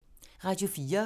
Radio 4